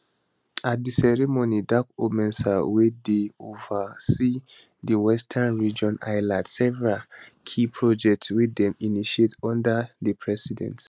at di ceremony darkomensah wey dey ova see di western region highlight several key projects wey dem initiate under di president